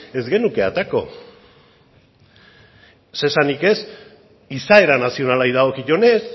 ez genuke aterako zer esanik ez izaera nazionalari dagokionez